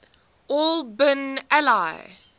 al bin ali